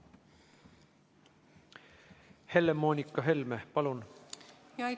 Helle-Moonika Helme, palun!